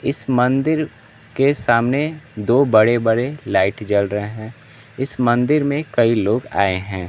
इस मंदिर के सामने दो बड़े बड़े लाइट जल रहे हैं इस मंदिर में कई लोग आए हैं।